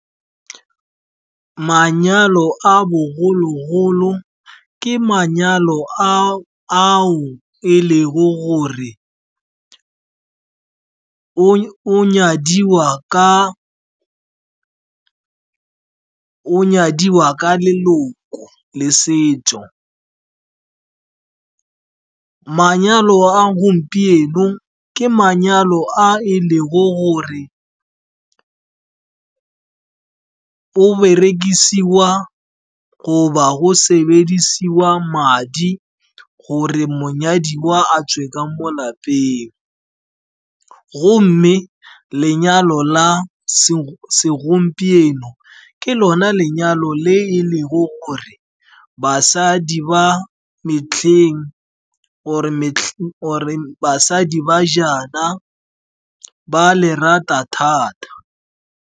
Manyalo a bogologolo ke manyalo ao e lego gore o nyadiwa ka leloko le setso. Manyalo a gompieno ke manyalo a e lego gore berekisiwa goba go sebediswa madi gore monyadiwa a tswe ka mo lapeng. Gomme lenyalo la segompieno ke lona lenyalo le e lego gore basadi ba metlheng, or basadi ba jaana ba le rata thata.